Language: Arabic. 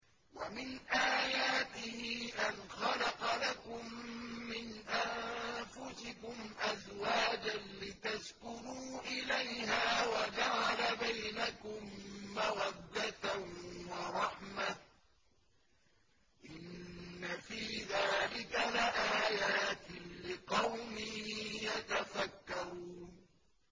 وَمِنْ آيَاتِهِ أَنْ خَلَقَ لَكُم مِّنْ أَنفُسِكُمْ أَزْوَاجًا لِّتَسْكُنُوا إِلَيْهَا وَجَعَلَ بَيْنَكُم مَّوَدَّةً وَرَحْمَةً ۚ إِنَّ فِي ذَٰلِكَ لَآيَاتٍ لِّقَوْمٍ يَتَفَكَّرُونَ